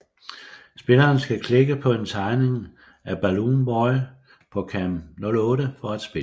Spilleren skal klikke på en tegning af Baloon boy på cam 08 for at spille